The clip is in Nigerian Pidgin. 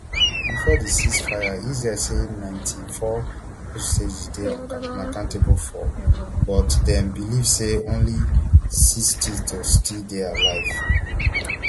before di ceasefire israel say ninety-four hostages dey unaccounted for but dem believe say only sixty to still dey alive